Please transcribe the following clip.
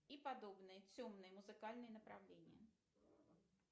и подобные темные музыкальные направления